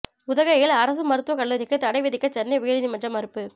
உதகையில் அரசு மருத்துவக் கல்லூரிக்கு தடை விதிக்க சென்னை உயர் நீதிமன்றம் மறுப்பு